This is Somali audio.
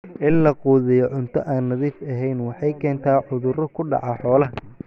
In la quudiyo cunto aan nadiif ahayn waxay keentaa cudurro ku dhaca xoolaha.